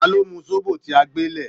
Ta lọ́ mu zobo tí a gbé lẹ̀?